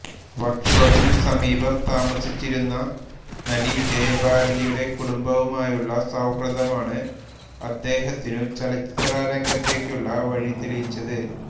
work ഷോപ്പിനു സമീപം താമസിച്ചിരുന്ന നടി ജയഭാരതിയുടെ കുടുംബവുമായുള്ള സൌഹൃദമാണ് അദ്ദേഹത്തിനു ചലച്ചിത്രരംഗത്തേക്കുള്ള വഴിതെളിച്ചത്